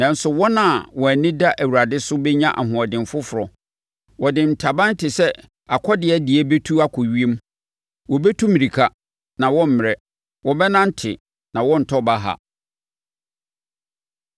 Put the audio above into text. Nanso, wɔn a wɔn ani da Awurade so bɛnya ahoɔden foforɔ. Wɔde ntaban te sɛ akɔdeɛ deɛ bɛtu akɔ ewiem; wɔbɛtu mmirika, na wɔremmrɛ. Wɔbɛnante, na wɔrentɔ baha.